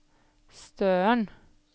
Støren